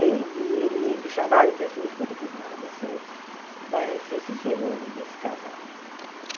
Aí ele dizi ele me chamava e dizia assim, escuta aqui ah, você vai ser desse casal.